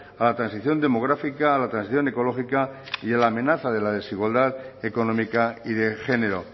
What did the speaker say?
a la transición demográfica a la transición ecológica y la amenaza de la desigualdad económica y de género